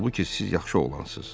Halbuki siz yaxşı oğlansınız.